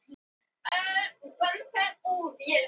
Við bjóðum hann velkominn til félagsins